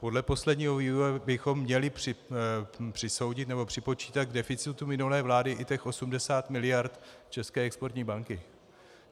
Podle posledního vývoje bychom měli přisoudit nebo připočítat k deficitu minulé vlády i těch 80 mld. České exportní banky.